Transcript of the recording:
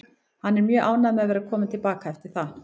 Hann er mjög ánægður með að vera kominn til baka eftir það.